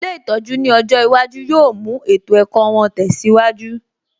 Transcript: Ilé ìtọ́jú ní ọjọ́ iwájú yóò mú ètò ẹ̀kọ́ wọn tẹsiwaju